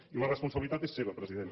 i la responsabilitat és seva president